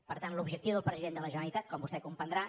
per tant l’objectiu del president de la generalitat com vostè comprendrà